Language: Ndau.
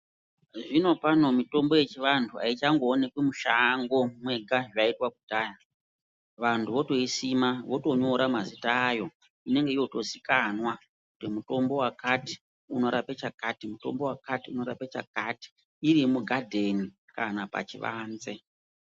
Zvinopano mitombo yechivantu haichangoonekwi mushango mwega zvaiitwa kudhaya. Vantu votoiusima votonyora mazita ayo. Inenge yotozikanwa kuti mutombo wakati unorape chakati, mutombo wakati unorape chakati. Iri mugadheni kana pachivanze.